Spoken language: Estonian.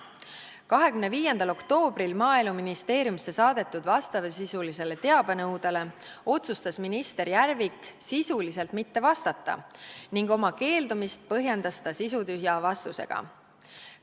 25. oktoobril Maaeluministeeriumisse saadetud vastavasisulisele teabenõudele otsustas minister Järvik sisuliselt mitte vastata ning oma keeldumist põhjendas ta sisutühja vastusega.